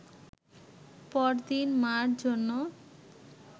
পরদিন মা’র জন্য